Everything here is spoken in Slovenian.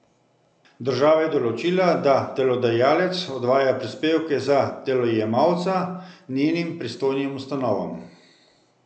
Država je določila, da delodajalec odvaja prispevke za delojemalca njenim pristojnim ustanovam.